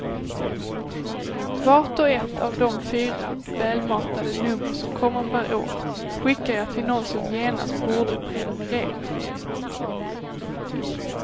Vart och ett av de fyra välmatade nummer som kommer per år skickar jag till någon som genast borde prenumerera.